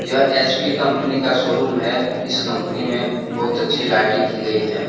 यह HP company का showroom है इस कंपनी में बहुत अच्छी लाइटिंग की गई है।